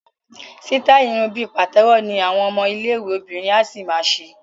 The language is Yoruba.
Sítáì irun bí pàtẹ́wọ́ ni àwọn ọmọ iléèwé obìnrin á ṣì ma ṣe